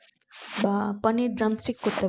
বা পানির drumstick করতে